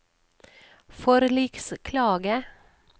forliksklage